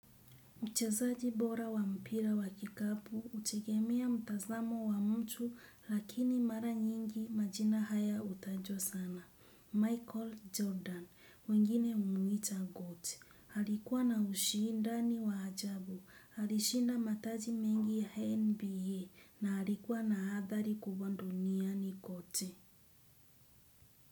Uchezaji bora wa mpira wa kikapu hutegemea mtazamo wa mtu, lakini mara nyingi majina haya hutajwa sana. Michael Jordan, wengine humwita GOAT. Alikuwa na ushindi wa ajabu, alishinda mataji mengi ya NBA, na alikuwa na athari kubwa duniani kote.